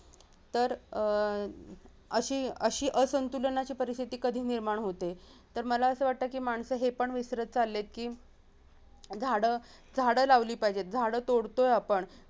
तर अं अशी अशी असंतुलनाची परिस्तिथी कधी निर्माण होते तर मला अस वाटतं की माणसं हे पण विसरत चाललेत की झाडं झाडं लावली पायजेत झाडं तोडतोय आपण